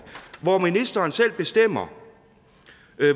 hvor ministeren selv bestemmer